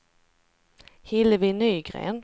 Hillevi Nygren